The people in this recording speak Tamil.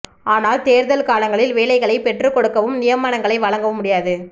ஆனால் தேர்தல் காலங்களில் வேலைகளை பெற்றுக் கொடுக்கவும் நியமனங்களை வழங்கவும் முடியாது